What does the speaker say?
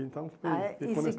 Então, fui, ah é, e se.